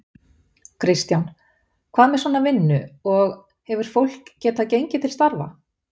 Kristján: Hvað með svona vinnu, og, hefur fólk getað gengið til starfa?